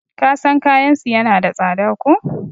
kasan kayansu yana da tsada ko?